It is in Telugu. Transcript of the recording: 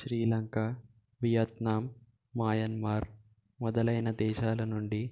శ్రీలంక వియత్నాం మాయన్మార్ మొదలైన దేశాలనుండి